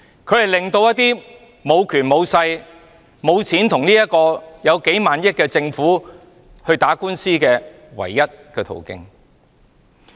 法援是無權無勢無錢的人可與坐擁數萬億元的政府打官司的唯一途徑。